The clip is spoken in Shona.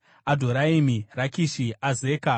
Adhoraimi, Rakishi, Azeka,